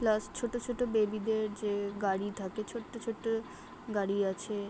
plus ছোট ছোট baby - দের যে গাড়ি থাকে ছোট্ট ছোট্ট গাড়ি আছে - এ --